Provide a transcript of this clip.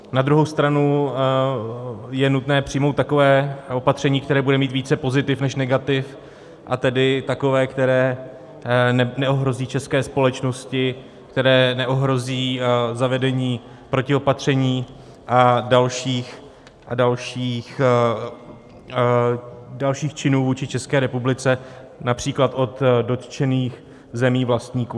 Na druhou stranu je nutné přijmout takové opatření, které bude mít více pozitiv než negativ, a tedy takové, které neohrozí české společnosti, které neohrozí zavedení protiopatření a dalších činů vůči České republice, například od dotčených zemí vlastníků.